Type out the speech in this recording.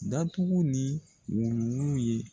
Datugu ni wuluwulu ye